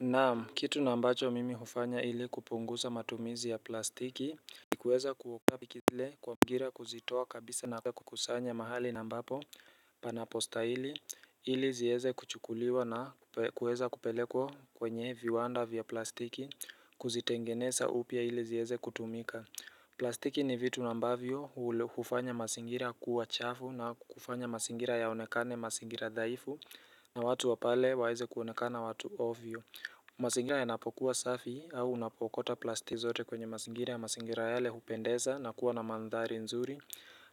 Naam, kitu na ambacho mimi hufanya ili kupunguza matumizi ya plastiki ni kuweza kutoa plastiki zile kwa mazingira kuzitoa kabisa na kukusanya mahali na ambapo panapo stahili, ili zieze kuchukuliwa na kuweza kupelekwa kwenye viwanda vya plastiki Kuzitengeneza upya ili zieze kutumika plastiki ni vitu na ambavyo hufanya mazingira kuwa chafu na kufanya mazingira yaonekane mazingira dhaifu na watu wa pale waeze kuonekana watu ovyo mazingira yanapokuwa safi au unapo okota plastiki zote kwenye mazingira ya mazingira yale hupendeza na kuwa na mandhari nzuri